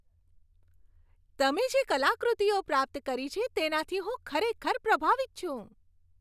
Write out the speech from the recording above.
તમે જે કલાકૃતિઓ પ્રાપ્ત કરી છે, તેનાથી હું ખરેખર પ્રભાવિત છું.